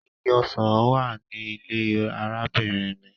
Igi ọsan wa ni ile arabinrin mi.